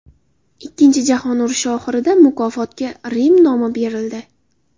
Ikkinchi jahon urushi oxirida mukofotga Rim nomi berildi.